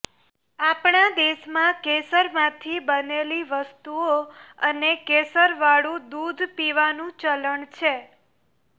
આપણા દેશમાં કેસરમાંથી બનેલી વસ્તુઓ અને કેસરવાળું દૂધ પીવાનું ચલણ છે